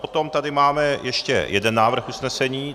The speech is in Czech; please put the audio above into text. Potom tady máme ještě jeden návrh usnesení.